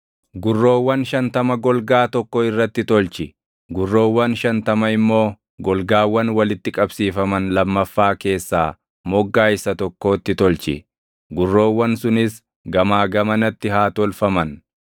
Gurroowwan shantama golgaa tokko irratti tolchi; gurroowwan shantama immoo golgaawwan walitti qabsiifaman lammaffaa keessaa moggaa isa tokkootti tolchi. Gurroowwan sunis gamaa gamanatti haa tolfaman.